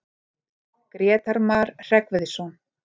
Grétar Mar Hreggviðsson.